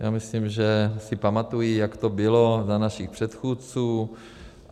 Já myslím, že si pamatují, jak to bylo za našich předchůdců.